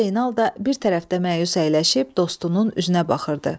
Usta Zeynal da bir tərəfdə məyus əyləşib dostunun üzünə baxırdı.